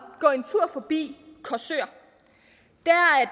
gå en tur forbi korsør